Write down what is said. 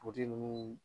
ninnu